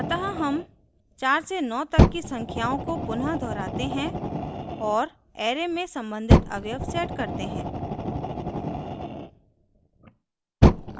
अतः हम 4 से 9 तक की संख्याओं को पुनः दोहराते हैं और array में संबंधित अवयव set करते हैं